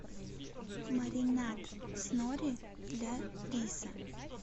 маринад с нори для риса